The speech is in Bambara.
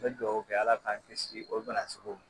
N bɛ dugawu kɛ ala k'an kisi o bana sugu.